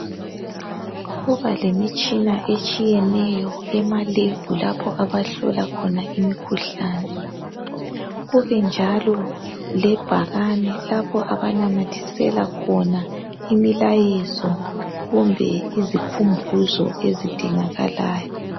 Kubalemitshina etshiyeneyo emalebhu lapho abahlola khona imikhuhlane, kube njalo lebhakane lapho abanamathisela khona imilayezo kumbe izikhumbuzo ezidingakalayo.